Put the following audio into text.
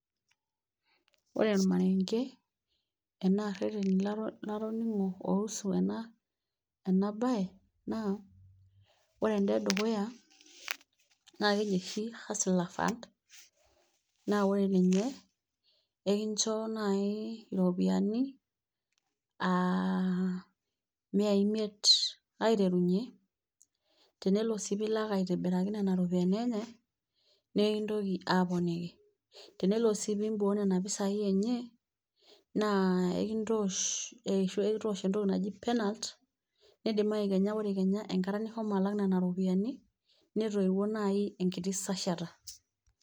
Ore olmarenge arashuu ireteni latongo oo usu ena bae naa, ore enedukuya naa keji oshi hustle fund naa ore ninye ekinjo naaji iropiyiani aa imia imiet aiterunyie. tenelo sii pee ilak aitobiiraki nena ropiyiani enye, nikintoki aa poneki tenelo sii iboo nena pisai enye ekintoosh entoki naji penalt nidimayu kenya engata nishoni alak nena ropiyiani netoyiuo najii enkita sashata.